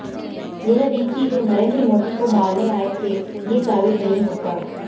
यह भी कि वे नरेंद्र मोदी को मारने आए थे ये भी साबित नहीं होता